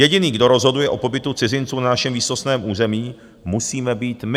Jediný, kdo rozhoduje o pobytu cizinců na našem výsostném území, musíme být my.